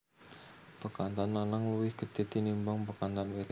Bekantan lanang luwih gedhe tinimbang bekantan wedok